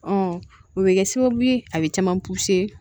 o bɛ kɛ sababu ye a bɛ caman